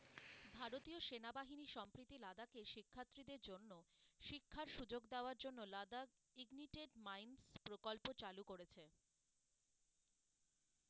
ভারতীয় সেনাবাহিনী সম্প্রীতি লাদাখে শিক্ষার্থীদের জন্য, শিক্ষার সুযোগ দেয়ার জন্য লাদাখ ignited mines প্রকল্প চালু করেছে,